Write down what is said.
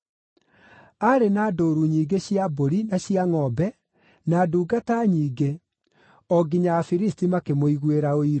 Aarĩ na ndũũru nyingĩ cia mbũri na cia ngʼombe, na ndungata nyingĩ, o nginya Afilisti makĩmũiguĩra ũiru.